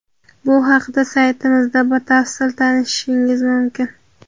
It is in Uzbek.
Bu haqida saytimizda batafsil tanishishingiz mumkin.